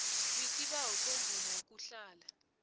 wisibawo semvumo yokuhlala